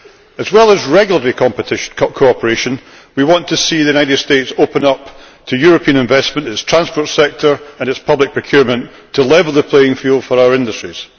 As well as regulatory cooperation, we want to see the United States open up to European investment its transport sector and its public procurement, to level the playing field for our industries.